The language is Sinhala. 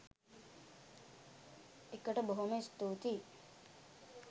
එකට බොහොම ස්තුතියි.